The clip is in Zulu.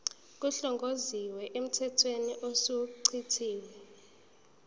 kuhlongozwe emthethweni osuchithiwe